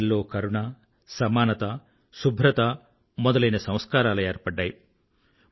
ప్రజల్లో కరుణ సమానత శుభ్రత మొదలైన సంస్కారాలు ఏర్పడ్డాయి